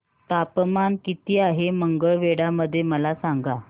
तापमान किती आहे मंगळवेढा मध्ये मला सांगा